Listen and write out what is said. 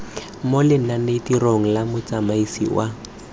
mo lenanetirong la motsamaisi wa